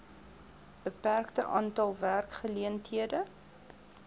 beperkte aantal werkgeleenthede